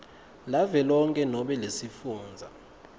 lavelonkhe nobe lesifundza